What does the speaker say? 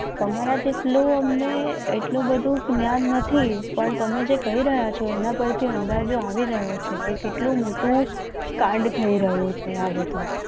તમારા જેટલું અમને એટલું બધું જ્ઞાન નથી પણ તમે જે કહી રહ્યા છો. એના પરથી અંદાજો આવી રહ્યો છે. કે કેટલું મોટું કાંડ થઈ રહ્યું છે. આ બધું